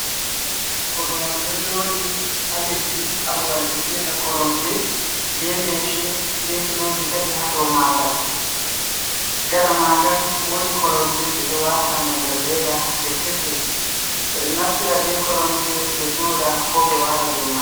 Korwal ɗo joɗi ha leddi ha babal be fiyata koromje, be leshe be piloji tati ha do magal, gaɗa magal wodi koromje ɗe ɗo wata ma nder leda ɗe kese, ɓe ɗo naftira be koromje ɓe joɗa ko be wala do man.